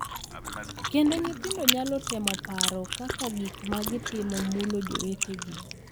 Kendo nyithindo nyalo temo paro kaka gik ma gitimo mulo jowetegi.